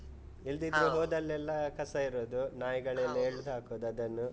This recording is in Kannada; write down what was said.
ಹೋದಲೆಲ್ಲಾ ಕಸ ಇರದು, ನಾಯಿಗಳೆಲ್ಲ ಹಾಕದು ಅದನ್ನು.